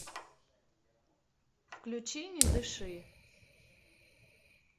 включи не дыши